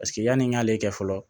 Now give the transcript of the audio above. Paseke yanni n k'ale kɛ fɔlɔ